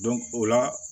o la